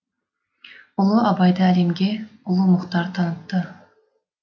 ұлы абайды әлемге ұлы мұхтар танытты